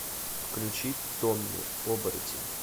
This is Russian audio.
включи томми оборотень